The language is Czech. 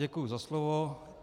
Děkuji za slovo.